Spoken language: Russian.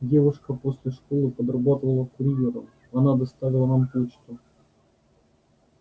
девушка после школы подрабатывала курьером она доставила нам почту